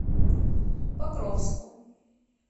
покровску